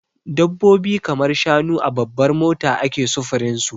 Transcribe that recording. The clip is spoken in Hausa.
Dabbobi kamar shanu a babbar mota ake sufurin su.